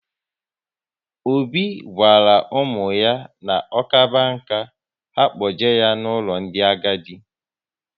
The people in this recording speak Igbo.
Obi gwara ụmụ ya na ọ kaba nkà, ha kpoje ya n'ụlọ ndị agadi